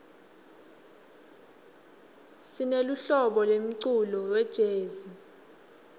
sineluhlobo lemculo welezi